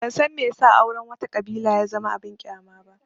Ban san me ya sa auren wata ƙabila ya zama abin ƙyama ba